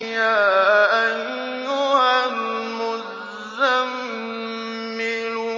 يَا أَيُّهَا الْمُزَّمِّلُ